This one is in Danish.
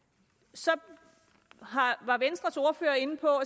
så var venstres ordfører inde på